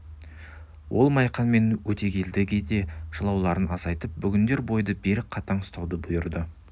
ол майқан мен өтегелдіге де жылауларын азайтып бүгіндер бойды берік қатаң ұстауды бұйырды